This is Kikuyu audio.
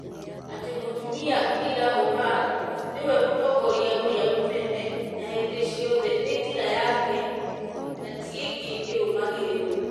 atĩ Mũtumia Kheira Omar nĩwe mũtongoria ũrĩa mũnene na hĩndĩ ciothe nĩ njĩra yake na tienge ĩrũmagĩrĩrwo.